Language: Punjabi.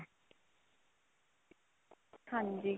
ਹਾਂਜੀ.